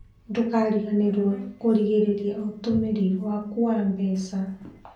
Ndũkariganĩrwo kũgirĩrĩria ũtũmĩri waku wa mbeca.